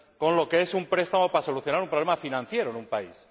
lo que es un préstamo para solucionar un problema financiero en un país.